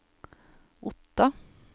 Otta